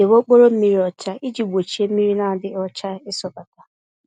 Debe okporo mmiri ọcha iji gbochie mmiri n'adịghị ọcha isọbata